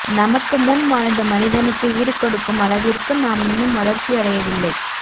நமக்கு முன் வாழ்ந்த மனிதனுக்கு ஈடு கொடுக்கும் அளவிற்கு நாம் இன்னும் வளர்ச்சியடவில்லை